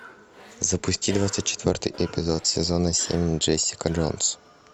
запусти двадцать четвертый эпизод сезона семь джесика джонс